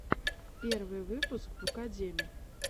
первый выпуск букадеми